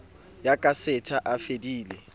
ya ka setha a fedile